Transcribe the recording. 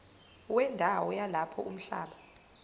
wendawo yalapho umhlaba